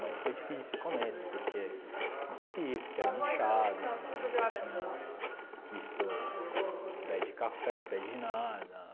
Mas foi difícil o começo, porque não sabia que que era uma enxada, nunca tinha visto pé de café, pé de nada.